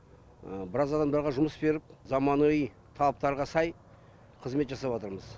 біраз адамдарға жұмыс беріп заманауи талаптарға сай қызмет жасап жатырмыз